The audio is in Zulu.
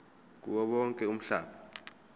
kuwo wonke umhlaba